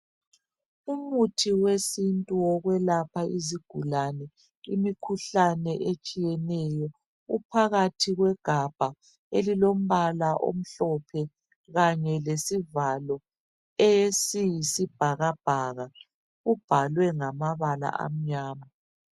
Umuthi wesintu wokwelapha izigulane imikhuhlane etshiyeneyo uphakathi kwegabha elilombala omhlophe kanye lesivalo esiyisibhakabhaka. Ubhalwe ngamabala amnyama.